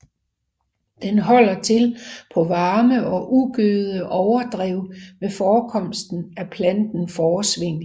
Den holder til på varme og ugødede overdrev med forekomst af planten fåresvingel